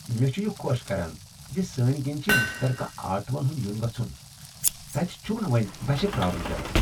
مےٚ چھ یہ خۄش کران ز سٲنۍ کنۍ چھ مشترکہٕ آٹو ہن ہُنٛد یُن گژُھن خوش كران تتہٕ چُھمنہٕ وۄنۍ بسہِ پر٘ارُن پیوان ۔